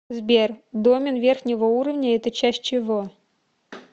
сбер домен верхнего уровня это часть чего